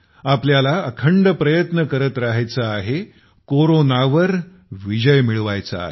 आपल्याला अखंड प्रयत्न करत राहायचं आहे कोरोनावर विजय मिळवायचा आहे